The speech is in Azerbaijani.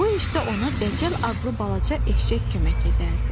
Bu işdə ona Dəcəl adlı balaca eşşək kömək edərdi.